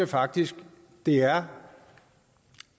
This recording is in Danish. faktisk det er